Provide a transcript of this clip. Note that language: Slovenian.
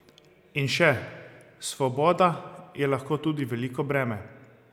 In še: "Svoboda je lahko tudi veliko breme.